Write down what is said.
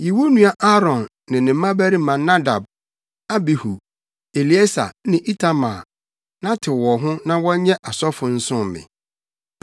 “Yi wo nua Aaron ne ne mmabarima Nadab, Abihu, Eleasar ne Itamar na tew wɔn ho na wɔnyɛ asɔfo nsom me.